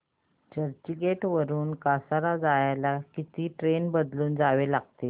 चर्चगेट वरून कसारा जायला किती ट्रेन बदलून जावे लागेल